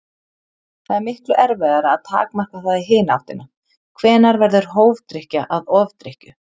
Það er miklu erfiðara að takmarka það í hina áttina: Hvenær verður hófdrykkja að ofdrykkju?